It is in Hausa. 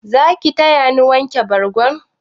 Zaki tayani wanke bargo?